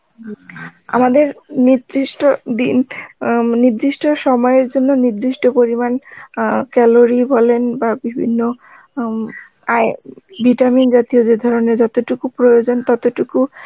আমাদের নির্দিষ্ট দিন উম নির্দিষ্ট সময়ের জন্য নির্দিষ্ট পরিমান অ্যাঁ calorie বলেন বা বিভিন্ন উম vitamin জাতীয় যে ধরনের যতটুকু প্রয়োজন ততটুকু